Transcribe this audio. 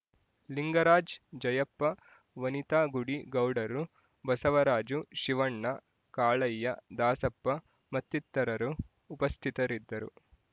ಲಿಂಗರಾಜ್ ಜಯಪ್ಪ ವನಿತಾ ಗುಡಿ ಗೌಡರು ಬಸವರಾಜು ಶಿವಣ್ಣ ಕಾಳಯ್ಯ ದಾಸಪ್ಪ ಮತ್ತಿತರರು ಉಪಸ್ಥಿತರಿದ್ದರು